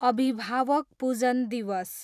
अभिभावक पूजन दिवस